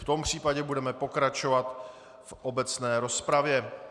V tom případě budeme pokračovat v obecné rozpravě.